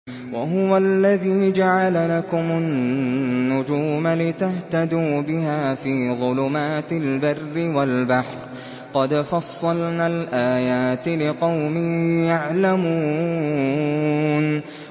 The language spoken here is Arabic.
وَهُوَ الَّذِي جَعَلَ لَكُمُ النُّجُومَ لِتَهْتَدُوا بِهَا فِي ظُلُمَاتِ الْبَرِّ وَالْبَحْرِ ۗ قَدْ فَصَّلْنَا الْآيَاتِ لِقَوْمٍ يَعْلَمُونَ